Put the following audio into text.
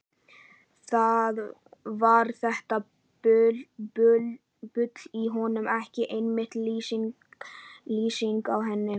Var þetta bull í honum ekki einmitt lýsingin á henni?